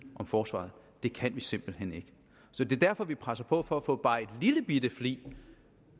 om forsvaret det kan vi simpelt hen ikke så det er derfor at vi presser på for at få løftet bare en lillebitte flig